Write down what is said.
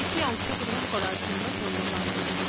এই টিউটোরিয়ালএ অংশগ্রহন করার জন্য ধন্যবাদ